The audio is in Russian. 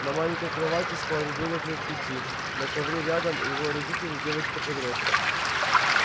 на маленькой кровати спал ребёнок лет пяти на ковре рядом его родители и девочка-подросток